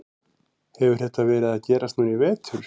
Hefur þetta verið að gerast núna í vetur?